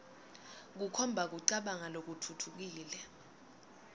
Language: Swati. kukhomba kucabanga lokutfutfukile